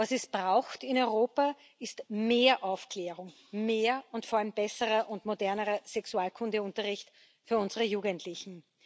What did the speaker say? Was es braucht in Europa, ist mehr Aufklärung, mehr und vor allem besseren und moderneren Sexualkundeunterricht für unsere Jugendlichen.